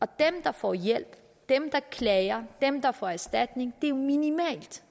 dem der får hjælp dem der klager dem der får erstatning er et minimalt